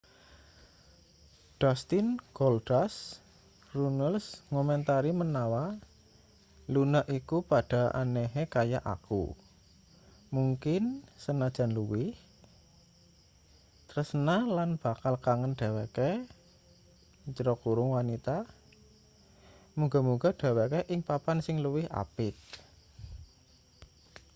dustin goldust runnels ngomentari menawa luna iku padha anehe kaya aku...mungkin senajan luwih...tresna lan bakal kangen dheweke wanita...muga-muga dheweke ing papan sing luwih apik.